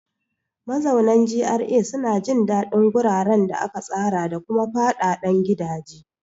Mazaunan GRA suna jin daɗin guraren da aka tsara da kuma fadadan gidaje.